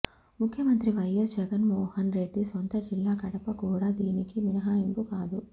ముఖ్యమంత్రి వైఎస్ జగన్మోహన్ రెడ్డి సొంత జిల్లా కడప కూడా దీనికి మినహాయింపు కాదు